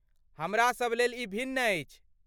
हमरासभ लेल ई भिन्न अछि।